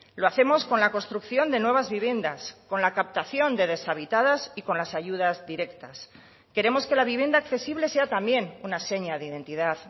lo hacemos con la construcción de nuevas viviendas con la captación de deshabitadas y con las ayudas directas queremos que la vivienda accesible sea también una seña de identidad